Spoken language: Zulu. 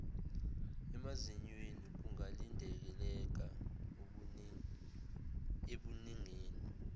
emazinyweni kungalindeleka ebuningini